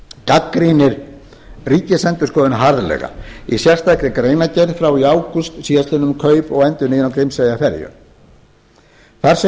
gagnrýnir ríkisendurskoðun harðlega í sérstakri greinargerð frá í ágúst síðastliðnum um kaup og endurnýjun á grímseyjarferju þar segir